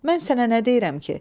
Mən sənə nə deyirəm ki?